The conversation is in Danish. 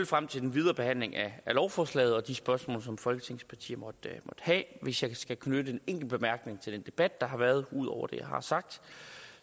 frem til den videre behandling af lovforslaget og de spørgsmål som folketingets partier måtte have hvis jeg skal knytte en enkelt bemærkning til den debat der har været ud over det jeg har sagt